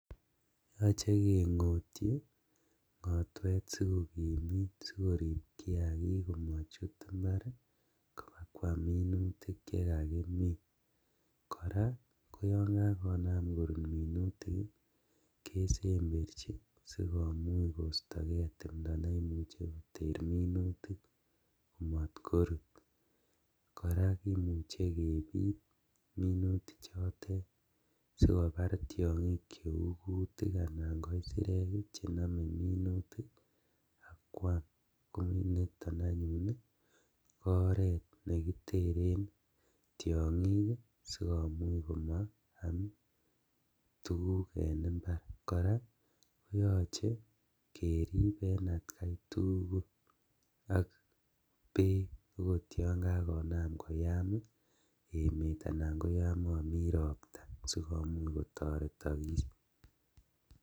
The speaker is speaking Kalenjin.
Yoche kengotyi ngotwet sikokimit sikorib kiagik komochut imbar kobakwam minutik chekakimin , koraa ko yon kakonam korut minutik kesemberjin sikomuch koistogee timdo neimuche koter minutik komotkorut , koraa kimuche kebit minutichotet sikobar tiongik cheu kutik anan ko isirek chenome minutik ak kwam koniton anyun ko oret nekiteren tiongik sikomuch komaam tuguk en imbar, koraa koyoche kerib en atkaitugul ak beek okot yon kakonam koyam emet anan koyon momi ropta sikomuch kotoretokis.